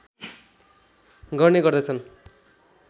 गर्ने गर्दछन्